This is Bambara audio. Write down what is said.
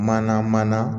Mana mana